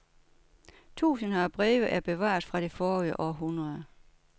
Tusinder af breve er bevaret fra det forrige århundrede.